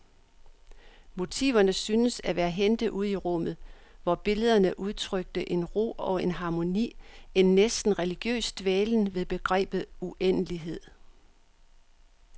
Motiverne syntes at være hentet ude i rummet, hvor billederne udtrykte en ro og en harmoni, en næsten religiøs dvælen ved begrebet uendelighed.